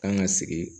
Kan ka sigi